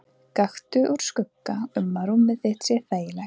Gakktu úr skugga um að rúmið þitt sé þægilegt.